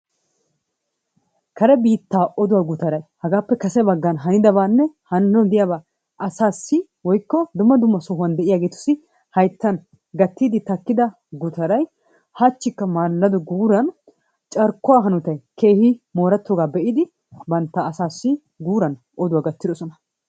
Kare biittaa oduwa gutaray hagaappe kase bagan hanidabaanne hananawu diyaabaa asaassi woikko dumma dumma sohuwaan deiyaageetussi hayttan gattiidi takkida gutaray hachchikka maalado guuran carkkuwa hanotay keehi moorettoogaa be'idi bantta asaassi guuran oduwa gattidosona.